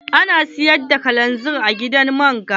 Ana siyar da kalanzir a gidan man ga?